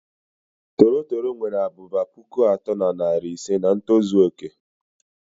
Toro toro nwere abụba pụkụ atọ na narị ise nà ntozu oké.